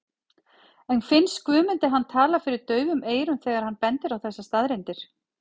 En finnst Guðmundi hann tala fyrir daufum eyrum þegar hann bendir á þessar staðreyndir?